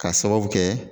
K'a sababu kɛ